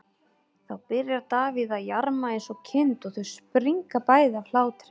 Þá byrjar Davíð að jarma eins og kind og þau springa bæði af hlátri.